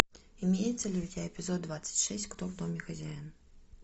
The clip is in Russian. имеется ли у тебя эпизод двадцать шесть кто в доме хозяин